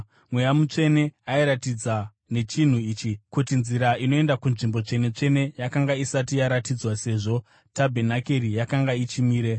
Mweya Mutsvene airatidza nechinhu ichi, kuti nzira inoenda kunzvimbo Tsvene-tsvene yakanga isati yaratidzwa sezvo tabhenakeri yakanga ichimire.